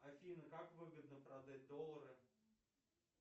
афина как выгодно продать доллары